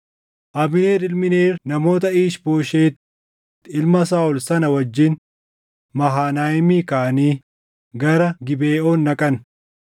Abneer ilmi Neer namoota Iish-Booshet ilma Saaʼol sana wajjin Mahanayiimii kaʼanii gara Gibeʼoon dhaqan.